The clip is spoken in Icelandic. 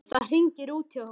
Það hringir út hjá honum.